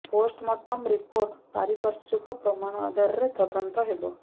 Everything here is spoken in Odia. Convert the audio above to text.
ପୋଷ୍ଟ ମୋର୍ଟମ ରିପୋର୍ଟ ପାରିପାର୍ଶ୍ୱିକ ପ୍ରମାଣ ଆଧାରରେ ତଦନ୍ତ ହେବ